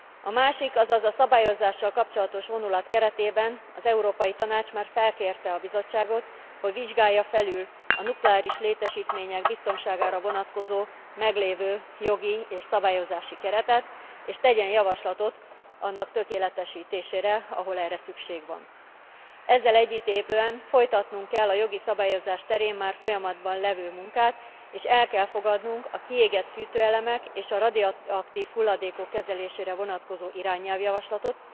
A másik, azaz a szabályozással kapcsolatos vonulat keretében az Európai Tanács már felkérte a Bizottságot, hogy vizsgálja felül a nukleáris létesítmények biztonságára vonatkozó meglévő jogi és szabályozási keretet, és tegyen javaslatot annak tökéletesítésére, ahol erre szükség van. Ezzel egy időben folytatnunk kell a jogi szabályozás terén már folyamatban levő munkát, és el kell fogadnunk a kiégett fűtőelemek és a radioaktív hulladékok kezelésére vonatkozó irányelv javaslatot.